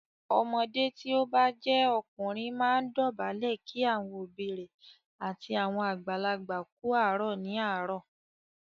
Ọmọdé tí o bá jẹ́ ọkùnrin máa ń dọ̀bálẹ̀ kí àwọn òbí rẹ̀ àti àwọn àgbàlagbà kú àárọ̀ ní àárọ̀.